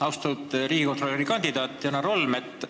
Austatud riigikontrolöri kanditaat Janar Holm!